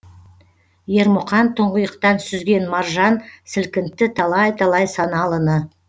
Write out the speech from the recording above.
ермұқан тұңғиықтан сүзген маржан сілкінтті талай талай саналыны